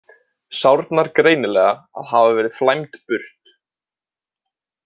Sárnar greinilega að hafa verið flæmd burt.